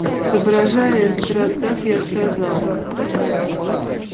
соображая этот рассказ я сказал